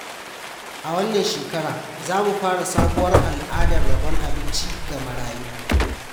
A wannan shekara, za mu fara sabuwar al’adar rabon abinci ga marayu.